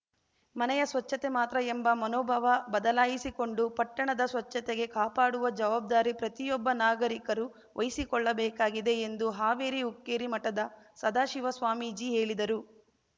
ಮನೆಯ ಸ್ವಚ್ಛತೆ ಮಾತ್ರ ಎಂಬ ಮನೋಭಾವ ಬದಲಾಯಿಸಿಕೊಂಡು ಪಟ್ಟಣದ ಸ್ವಚ್ಛತೆಗೆ ಕಾಪಾಡುವ ಜವಾಬ್ದಾರಿ ಪ್ರತಿಯೊಬ್ಬ ನಾಗರಿಕರು ವಹಿಸಿಕೊಳ್ಳಬೇಕಾಗಿದೆ ಎಂದು ಹಾವೇರಿ ಹುಕ್ಕೇರಿ ಮಠದ ಸದಾಶಿವ ಸ್ವಾಮೀಜಿ ಹೇಳಿದರು